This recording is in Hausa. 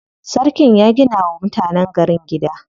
Sarkin ya gina wa mutanen gari gida.